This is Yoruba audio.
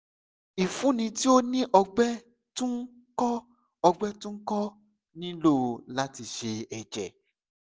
ifunni ti o ni ọgbẹ tun ko ọgbẹ tun ko nilo lati ṣe ẹjẹ